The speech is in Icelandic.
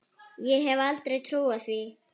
Ég hefði aldrei trúað því.